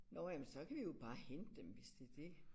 Nåh jamen så kan vi jo bare hente dem hvis det er det